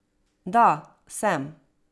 Da, sem.